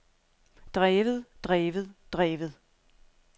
drevet drevet drevet